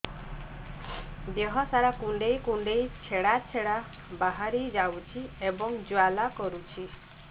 ଦେହ ସାରା କୁଣ୍ଡେଇ କୁଣ୍ଡେଇ ଛେଡ଼ା ଛେଡ଼ା ବାହାରି ଯାଉଛି ଏବଂ ଜ୍ୱାଳା କରୁଛି